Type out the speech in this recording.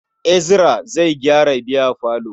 Ezra zai gyara biyafalon.